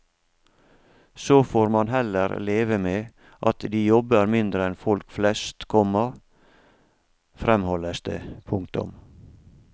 Så får man heller leve med at de jobber mindre enn folk flest, komma fremholdes det. punktum